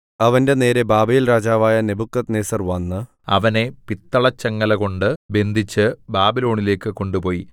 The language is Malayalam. അവന്റെനേരെ ബാബേൽരാജാവായ നെബൂഖദ്നേസർ വന്ന് അവനെ പിത്തളചങ്ങല കൊണ്ട് ബന്ധിച്ച് ബാബിലോണിലേക്ക് കൊണ്ടുപോയി